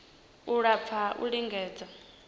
u lafha ha u lingedza